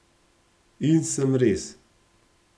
In sem res!